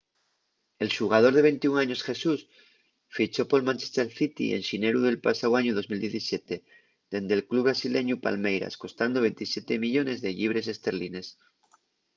el xugador de 21 años jesus fichó pol manchester city en xineru del pasáu añu 2017 dende’l club brasileñu palmeiras costando 27 millones de llibres esterlines